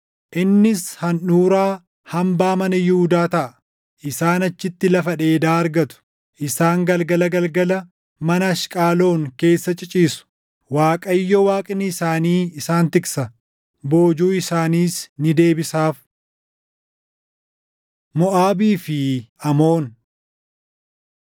Innis handhuuraa hambaa mana Yihuudaa taʼa; isaan achitti lafa dheedaa argatu. Isaan galgala galgala mana Ashqaloon keessa ciciisu. Waaqayyo Waaqni isaanii isaan tiksa; boojuu isaaniis ni deebisaaf. Moʼaabii fi Amoon